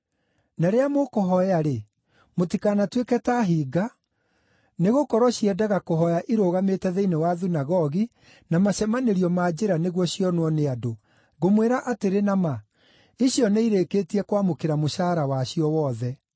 “Na rĩrĩa mũkũhooya-rĩ, mũtikanatuĩke ta hinga, nĩgũkorwo ciendaga kũhooya irũgamĩte thĩinĩ wa thunagogi na macemanĩrio ma njĩra nĩguo cionwo nĩ andũ. Ngũmwĩra atĩrĩ na ma, icio nĩirĩkĩtie kwamũkĩra mũcaara wacio wothe.